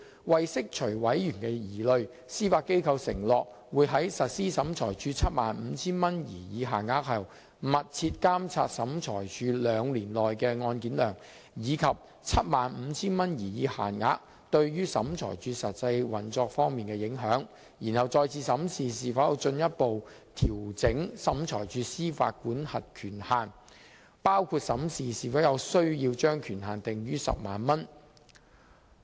為釋除委員的疑慮，司法機構承諾會在實施審裁處 75,000 元擬議限額後，密切監察審裁處兩年內的案件量，以及 75,000 元擬議限額對審裁處實際運作方面的影響，然後再次審視是否有需要進一步調整審裁處的司法管轄權限，包括審視是否有需要把權限訂於 100,000 元。